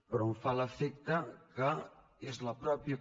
però em fa l’efecte que és la mateixa